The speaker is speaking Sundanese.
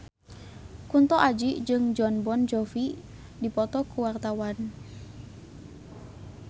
Kunto Aji jeung Jon Bon Jovi keur dipoto ku wartawan